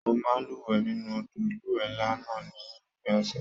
Mo máa n luwẹ̀ nínú odò ilúwẹ nlá náà ní òpin ọsẹ.